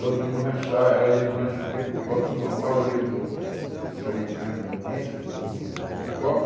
Todo mundo ranchar, era ia no rancho comer igual todo mundo, o paioleiro do do dos tenentes, por exemplo, da intendência, da cozinha, da copa,